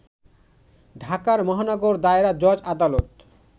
ঢাকার মহানগর দায়রা জজ আদালতে